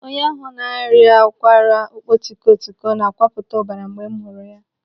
Onye ahụ na-arịa ụkwara ọkpọtikọtikọ na-akwapụta ọbara mgbe m hụrụ ya.